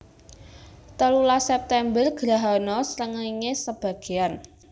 Telulas September Grahana srengéngé sebagéan